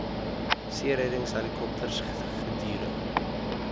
seereddings helikopters gedurig